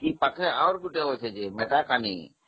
ସେ ପାଖରେ ଆଉ ଗୋଟେ ଅଛି ଦେଖିବା ଲାଗି